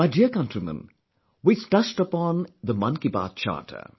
My dear countrymen, we touched upon the Mann Ki Baat Charter